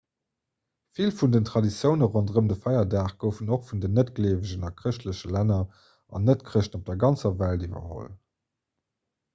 vill vun den traditioune ronderëm de feierdag goufen och vun den net-gleewegen a chrëschtleche länner an net-chrëschten op der ganzer welt iwwerholl